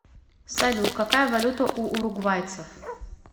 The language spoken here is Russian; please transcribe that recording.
салют какая валюта у уругвайцев